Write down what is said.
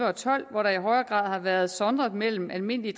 og tolv hvor der i højere grad har været sondret mellem almindelige